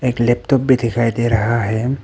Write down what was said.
एक लैपटॉप भी दिखाई दे रहा है।